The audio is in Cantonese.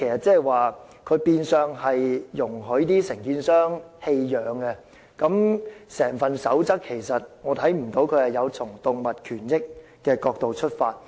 "這變相容許承建商棄養狗隻，我看不到"建築地盤飼養狗隻守則"有從動物權益的角度出發。